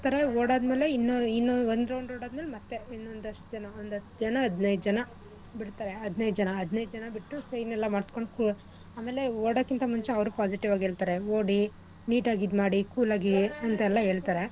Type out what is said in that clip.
ಓಡ್ ಆದ್ಮೇಲೆ ಇನ್ನು ಇನ್ನು ಒಂದ್ round ಅದ್ಮೇಲೆ ಮತ್ತೆ ಇನ್ನೊಂದಷ್ಟ್ ಜನ ಒಂದ್ ಹತ್ ಜನ ಹದ್ನೈದ್ ಜನ ಬಿಡ್ತಾರೆ ಹದ್ನೈದ್ ಜನ ಹದ್ನೈದ್ ಜನ ಬಿಟ್ಟು sign ಎಲ್ಲಾ ಮಾಡಿಸ್ಕೊಂಡು ಆಮೇಲೆ ಓಡಕ್ಕಿಂತ ಮುಂಚೆ ಅವ್ರು positive ಆಗಿ ಹೇಳ್ತಾರೆ ಓಡಿ neat ಆಗ್ ಇದ್ ಮಾಡಿ cool ಆಗಿ ಅಂತೆಲ್ಲ ಹೇಳ್ತಾರೆ.